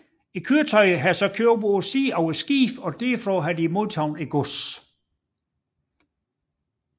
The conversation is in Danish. Køretøjer har så gået op på siden af skibene og derfra modtaget godset